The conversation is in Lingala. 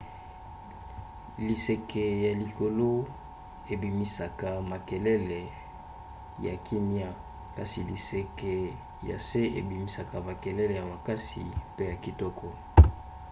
liseke ya likolo ebimisaka makelele ya kimia kasi liseke ya se ebimisaka makalele ya makasi pe ya kitoko